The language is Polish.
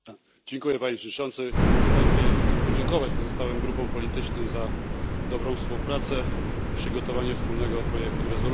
Panie Przewodniczący! Na wstępie chcę podziękować pozostałym grupom politycznym za dobrą współpracę i przygotowanie wspólnego projektu rezolucji.